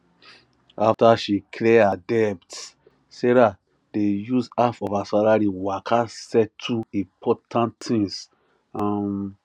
after she clear her debts sarah dey use half of her salary waka settle important tins um